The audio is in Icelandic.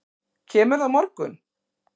Kemurðu á morgun?